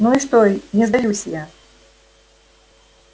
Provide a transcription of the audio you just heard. ну и что не сдаюсь я